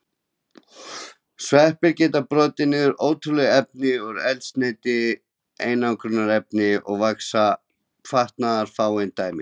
Sveppir geta brotið niður ótrúlegustu efni og eru eldsneyti, einangrunarefni, vax og fatnaður fáein dæmi.